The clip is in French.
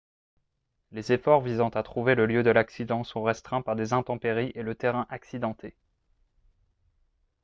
les efforts visant à trouver le lieu de l'accident sont restreints par des intempéries et le terrain accidenté